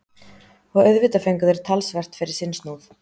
Og auðvitað fengu þeir talsvert fyrir sinn snúð.